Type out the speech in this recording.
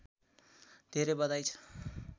धेरै बधाई छ